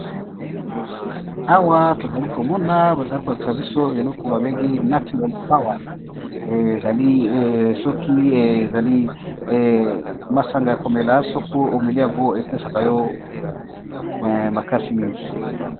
Awa namoni balakisi biso ba masanga yakomela soki omeli yango eko pesa yo makasi mingi